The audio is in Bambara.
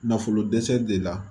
Nafolo dɛsɛ de la